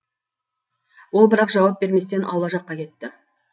ол бірақ жауап берместен аула жаққа кетті